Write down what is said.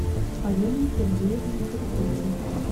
полине сергеевне харитоновой